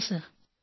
thank you sir